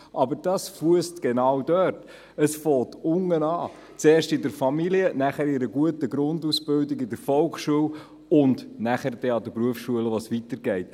Aber dies fängt unten an, zuerst in der Familie und danach bei einer guten Grundausbildung in der Volksschule, und geht an den Berufsschulen weiter.